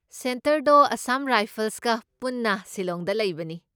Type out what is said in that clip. ꯁꯦꯟꯇꯔꯗꯣ ꯑꯁꯥꯝ ꯔꯥꯏꯐꯜꯁꯒ ꯄꯨꯟꯅ ꯁꯤꯂꯣꯡꯗ ꯂꯩꯕꯅꯤ꯫